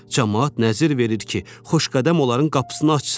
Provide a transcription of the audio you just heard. Camaat nəzir verir ki, Xoşqədəm onların qapısını açsın.